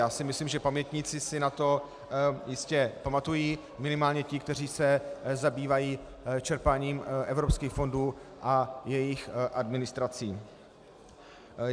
Já si myslím, že pamětníci si na to jistě pamatují, minimálně ti, kteří se zabývají čerpáním evropských fondů a jejich administrací.